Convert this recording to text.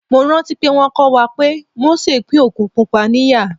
Mo rántí pé wón kọ́ wa pé Mósè pín Òkun Pupa ní ìyà.